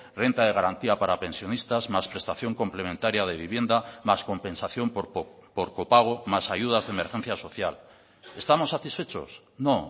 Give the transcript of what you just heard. renta de garantía para pensionistas más prestación complementaria de vivienda más compensación por copago más ayudas de emergencia social estamos satisfechos no